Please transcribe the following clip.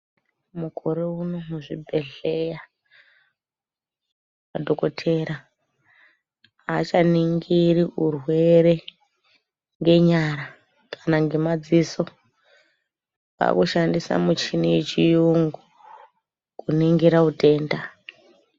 Mukore uno muzvibhedhleya madhokotera aachaningiri murwere ngenyara kana ngemadziso akushandisa michini yechiyungu kuningira utenda.